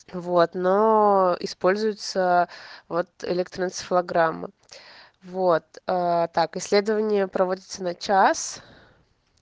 вот но используется вот электроэнцефалограмма вот так исследование проводится на час